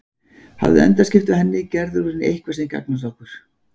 Hafðu endaskipti á henni, gerðu úr henni eitthvað sem gagnast okkur.